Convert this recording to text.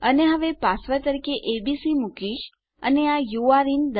અને હવે હું પાસવર્ડ તરીકે એબીસી મુકીશ અને આ યુરે ઇન